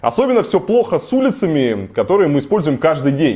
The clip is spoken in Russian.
особенно все плохо с улицами которые мы используем каждый день